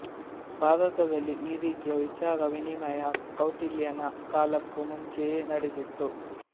ಭಾರತದಲ್ಲಿ ಈ ರೀತಿಯ ವಿಚಾರವಿನಿಮಯ ಕೌಟಿಲ್ಯನ ಕಾಲಕ್ಕೂ ಮುಂಚೆಯೇ ನಡೆದಿತ್ತು